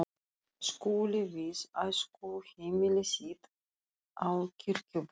Skúli við æskuheimili sitt á Kirkjubóli.